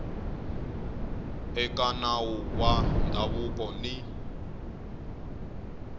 eka nawu wa ndhavuko ni